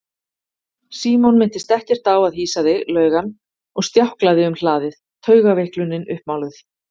Símon minntist ekkert á að hýsa þig laug hann og stjáklaði um hlaðið, taugaveiklunin uppmáluð.